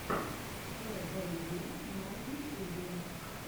фэ бэ е на ютюбе